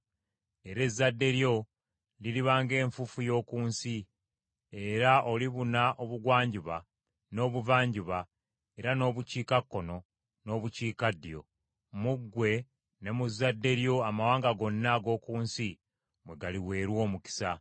Era ezzadde lyo liriba ng’enfuufu y’oku nsi, era olibuna obugwanjuba n’obuvanjuba era n’obukiikakkono n’obukiikaddyo. Mu ggwe ne mu zadde lyo amawanga gonna ag’oku nsi mwe galiweerwa omukisa.